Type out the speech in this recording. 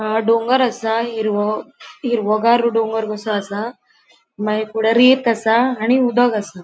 अ डोंगर असा हिरवो हिरवोगार डोंगर कसो आसा मागिर पुढे असा आणि उदोक असा.